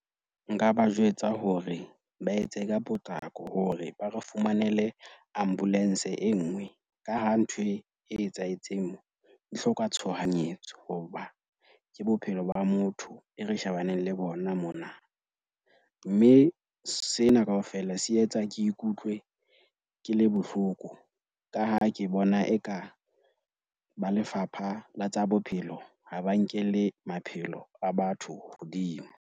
Nka ba jwetsa hore ba etse ka potlako hore ba re fumanele ambulance e nngwe ka ha nthwe e etsahetseng mo e hloka tshohanyetso. Hoba ke bophelo ba motho e re shebaneng le bona mona. Mme sena kaofela se etsa ke ikutlwe ke le bohloko ka ha ke bona eka ba Lefapha la tsa Bophelo ha ba nkelle maphelo a batho hodimo.